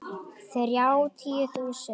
Þrjátíu þúsund!